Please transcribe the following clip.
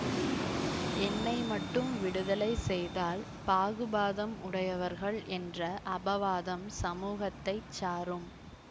என்னை மட்டும் விடுதலை செய்தால் பாஹுபாதம் உடையவர்கள் என்ற அபவாதம் சமுகத்தைச் சாரும்